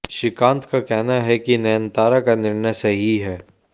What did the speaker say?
श्रीकांत का कहना है कि नयनतारा का निर्णय सही है